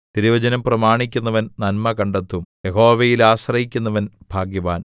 തിരുവചനം പ്രമാണിക്കുന്നവൻ നന്മ കണ്ടെത്തും യഹോവയിൽ ആശ്രയിക്കുന്നവൻ ഭാഗ്യവാൻ